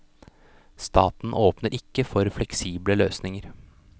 Staten åpner ikke for fleksible løsninger.